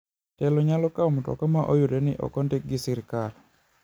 Telo nyalo kao mtoka ma oyudore ni ok ondiki gi sirkal.